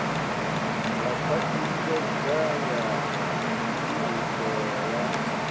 ḽa khwaṱhisedzo ya phiriso ya